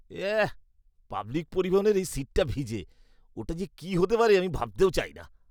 এঃ, public পরিবহনের এই সীটটা ভিজে। ওটা যে কি হতে পারে আমি ভাবতেও চাই না।